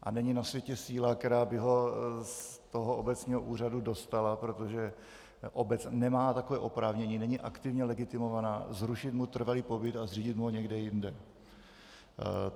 A není na světě síla, která by ho z toho obecního úřadu dostala, protože obec nemá takové oprávnění, není aktivně legitimovaná zrušit mu trvalý pobyt a zřídit mu ho někde jinde.